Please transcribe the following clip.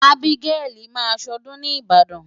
Ábígẹ́lì máa ṣọdún ni Ìbàdàn.